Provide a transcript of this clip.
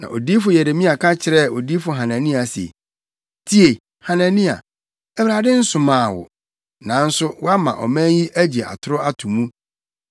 Na odiyifo Yeremia ka kyerɛɛ odiyifo Hanania se, “Tie, Hanania! Awurade nsomaa wo, nanso, woama ɔman yi agye atoro ato mu.